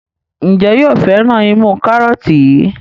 Njé yóò féràn imú karọọti yí?